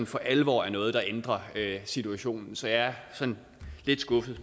for alvor er noget der ændrer situationen så jeg er sådan lidt skuffet